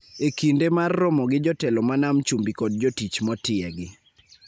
E kinde mar romo gi jotelo ma Nam Chumbi kod jotich motiegi